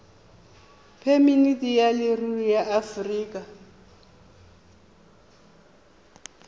phemiti ya leruri ya aforika